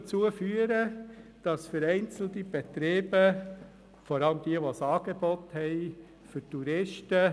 Am Wochenende sind viele Touristen in der Unteren Altstadt.